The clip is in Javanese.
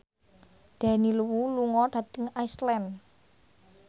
Daniel Wu lunga dhateng Iceland